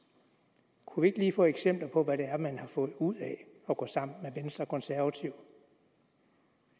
og vi ikke lige få eksempler på hvad det er man har fået ud af at gå sammen med venstre og konservative